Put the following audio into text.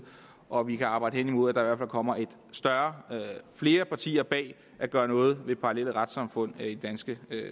og at vi kan arbejde hen imod at der fald kommer flere partier bag at gøre noget ved parallelle retssamfund i det danske